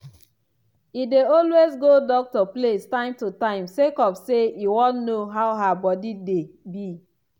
e dey always go doctor place time to time sake of say e wan know how her body dey be